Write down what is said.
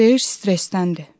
Deyir stressdəndir.